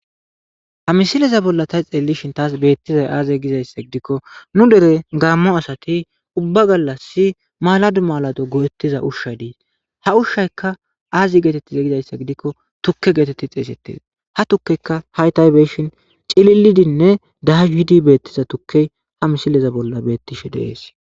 ha misileza bolla ta xeelishin taas beettizay aaze gizayssa gidikko nu dere gaammo asati ubba gallas maladu malado goo7ettiza ushshay diis ha ushshayka aazi geetettiza gizayssa gidikko tukke geetetti xeesettees ha tukkekka haytaybeshin cililidinne dahidi beettiza tukke ha misileza bolla beettishe deees